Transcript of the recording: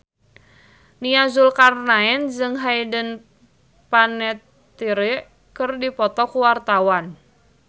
Nia Zulkarnaen jeung Hayden Panettiere keur dipoto ku wartawan